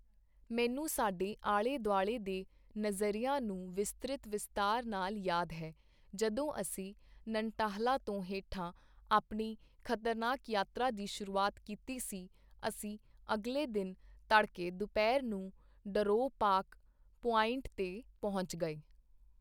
ਮੈਨੂੰ ਸਾਡੇ ਆਲ਼ੇ ਦੁਆਲ਼ੇ ਦੇ ਨਜ਼ਰਿਆਂ ਨੂੰ ਵਿਸਤ੍ਰਿਤ ਵਿਸਤਾਰ ਨਾਲ ਯਾਦ ਹੈ ਜਦੋਂ ਅਸੀਂ ਨਨਟਾਹਲਾ ਤੋਂ ਹੇਠਾਂ ਆਪਣੀ ਖਤਰਨਾਕ ਯਾਤਰਾ ਦੀ ਸ਼ੁਰੂਆਤ ਕੀਤੀ ਸੀ ਅਸੀਂ ਅਗਲੇ ਦਿਨ ਤੜਕੇ ਦੁਪਹਿਰ ਨੂੰ ਡਰੋਅ ਪਾਕ ਪੁਆਇੰਟ 'ਤੇ ਪਹੁੰਚ ਗਏ